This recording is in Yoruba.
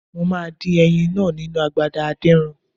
Mo máa dín ẹyin náà nínu agbada adínran.